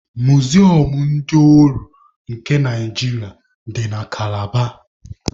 Muzium ndị ohu nke Naijiria dị na Kalaba